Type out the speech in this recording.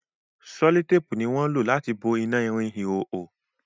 sellotape ní wón o lati bo ina ìrìn ìhoho